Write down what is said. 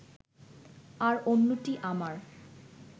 আর অন্যটি আমার